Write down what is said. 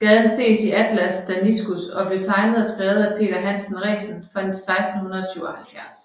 Gaden ses i Atlas Danicus der blev tegnet og skrevet af Peder Hansen Resen fra 1677